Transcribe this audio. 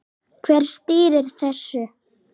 Hver stýrir þessu?